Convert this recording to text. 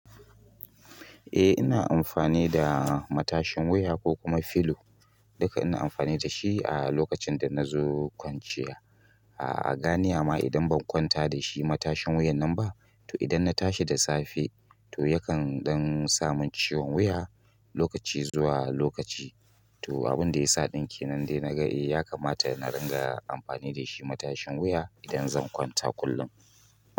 Eh ina amfani da matashin wuya ko kuma filo. Duka ina amfani da shi a lokacin da na zo kwanciya. A'a, gani ama idan ban kwanta da shi matashin wuyan nan ba, to idan na tashi da safe, to yakan ɗan samu ciwon wuya lokaci zuwa lokaci. To abin da ya sa ɗinke nan dai naga ya kamata na ringa amfani da shi matashin wuya idan zan kwanta kullum.